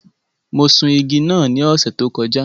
Mo sun igi náà ní ọ̀sẹ̀ tó kọjá.